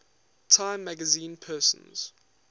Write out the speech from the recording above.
time magazine persons